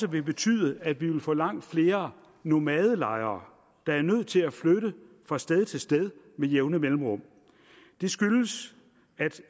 vil betyde at vi vil få langt flere nomadelejere der er nødt til at flytte fra sted til sted med jævne mellemrum det skyldes at